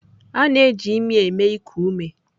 A na-eji imi eme iku ume.